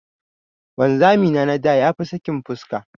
Wanzami na na da ya fi sakin fuska.